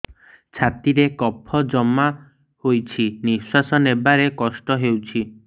ଛାତିରେ କଫ ଜମା ହୋଇଛି ନିଶ୍ୱାସ ନେବାରେ କଷ୍ଟ ହେଉଛି